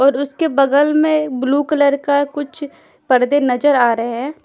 और उसके बगल में ब्लू कलर का कुछ पर्दे नजर आ रहे हैं।